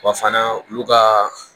Wa fana olu ka